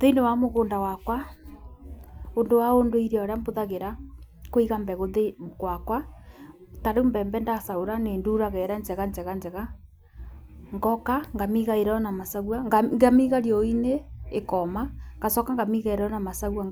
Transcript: Thĩinĩ wa mũgũnda wakwa ũndũ wa ũndũire ũrĩa bũthagĩra nĩ kũiga mbegũ gwakwa tarĩu mbembe ndacagũra nĩ thuraga ĩrĩa njega njega njega, ngoka ngamĩiga ĩrĩ ona macagua ngamĩiga riũa-inĩ ĩkoma ngacoka ngamĩiga ĩrĩ ona macagua